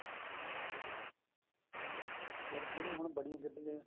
ਜਿਹੜੀ ਹੁਣ ਬੜੀਆਂ ਗੱਡੀਆਂ